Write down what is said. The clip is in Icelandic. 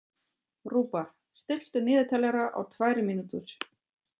Rúbar, stilltu niðurteljara á tvær mínútur.